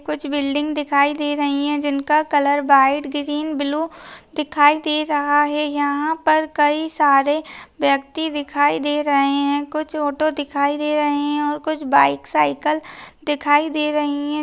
कुछ बिल्डिंग दिखाई दे रही है जिनका कलर व्हाइट ग्रीन ब्लू दिखाई दे रहा है यहाँ पर कई सारे व्यक्ति दिखाई दे रहे है कुछ ऑटो दिखाई दे रहे है और कुछ बाइक साइकल दिखाई दे रहे है।